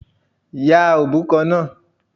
Ya òbúkọ náà.